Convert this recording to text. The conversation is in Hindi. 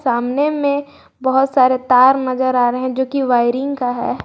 सामने में बहुत सारे तार नजर आ रहे हैं जो कि वायरिंग का है।